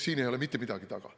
Siin ei ole mitte midagi taga.